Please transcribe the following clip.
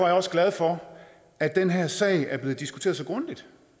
jeg også glad for at den her sag er blevet diskuteret så grundigt